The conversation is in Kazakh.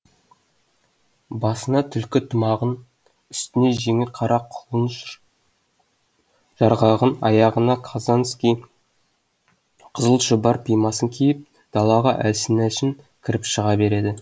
басына түлкі тымағын үстіне жеңіл қара құлын жарғағын аяғына қазанский қызыл шұбар пимасын киіп далаға әлсін әлсін кіріп шыға берді